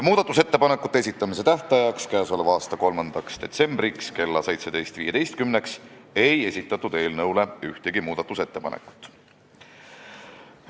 Muudatusettepanekute esitamise tähtajaks, 3. detsembriks kella 17.15-ks ei esitatud ühtegi ettepanekut.